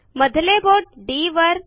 मधले बोट डी वर